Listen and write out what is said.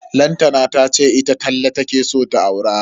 Lantana tace ita Talle take so ta aura.